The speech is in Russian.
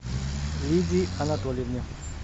лидии анатольевне